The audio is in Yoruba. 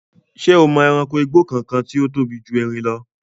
Ṣé o mọ ẹranko igbó kankan tí ó tóbi ju erin lọ?